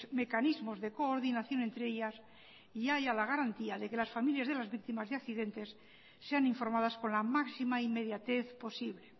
mecanismos de coordinación entre ellas y haya la garantía de que las familias de las víctimas de accidentes sean informadas con la máxima inmediatez posible